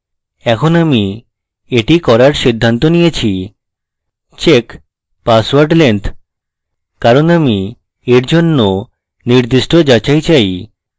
এখন আমি এটি করার সিদ্ধান্ত নিয়েছিcheck password length কারণ আমি এর জন্য নির্দিষ্ট যাচাই চাই